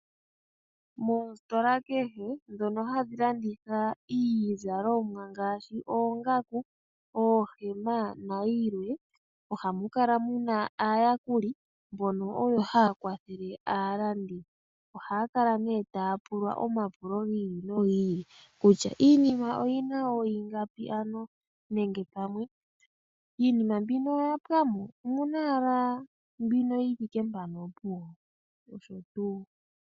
Moositola kehe dhono hadhi landitha iizalomwa ngaashi oongaku, oohema nayilwe. Ohamu kala muna aayakuli mbono oyo haya kwathele aalandi. Oha kala nee taya pulwa omapulo giili nogiili kutya iinima mbino oyina oigapi nenge pamwe iinima mbino oya pwamo omuna ala mbinoyithike mpano opuwo? Noshotuu.